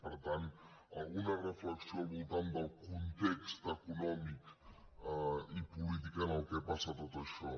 per tant alguna reflexió al voltant del context econòmic i polític en què passa tot això